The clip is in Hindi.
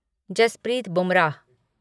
जसप्रीत बुमराह